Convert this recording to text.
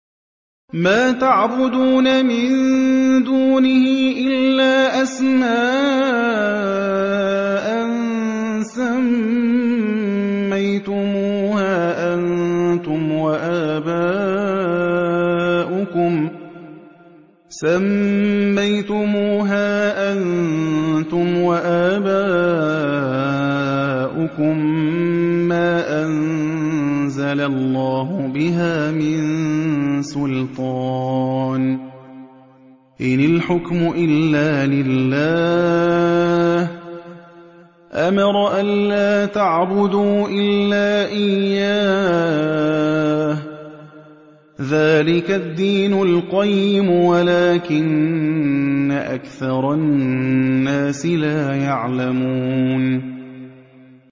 مَا تَعْبُدُونَ مِن دُونِهِ إِلَّا أَسْمَاءً سَمَّيْتُمُوهَا أَنتُمْ وَآبَاؤُكُم مَّا أَنزَلَ اللَّهُ بِهَا مِن سُلْطَانٍ ۚ إِنِ الْحُكْمُ إِلَّا لِلَّهِ ۚ أَمَرَ أَلَّا تَعْبُدُوا إِلَّا إِيَّاهُ ۚ ذَٰلِكَ الدِّينُ الْقَيِّمُ وَلَٰكِنَّ أَكْثَرَ النَّاسِ لَا يَعْلَمُونَ